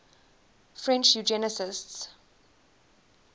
french eugenicists